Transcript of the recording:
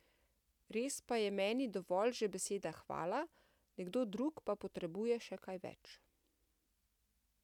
Res pa je meni dovolj že beseda hvala, nekdo drug pa potrebuje še kaj več.